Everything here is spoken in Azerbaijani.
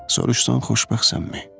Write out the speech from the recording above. Soruşsan xoşbəxtsənmi?